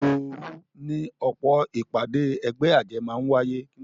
Òròòru ni ọ̀pọ̀ ìpàdé ẹgbẹ́ àjẹ́ máa ń wáyé